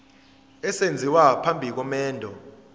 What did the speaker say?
esenziwa phambi komendo